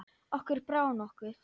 Okkur brá nokkuð.